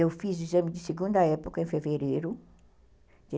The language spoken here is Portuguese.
Eu fiz o exame de segunda época em fevereiro